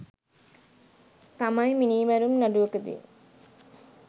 තමයි මිනීමැරුම් නඩුවකදී